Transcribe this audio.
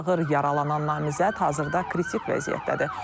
Ağır yaralanan namizəd hazırda kritik vəziyyətdədir.